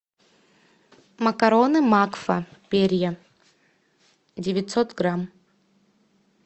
макароны макфа перья девятьсот грамм